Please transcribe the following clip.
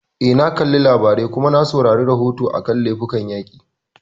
Eh, na kalli labarai, kuma na saurari rahoton a kan laifukan yaƙi